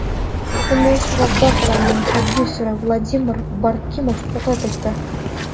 Kumush Razzoqovaning prodyuseri Vladimir Baramikov vafot etdi.